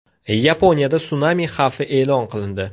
Yaponiyada sunami xavfi e’lon qilindi.